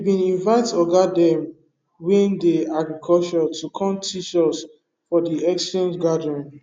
we bin invite oga dem wey dey agriculture to come teach us for de exchange gathering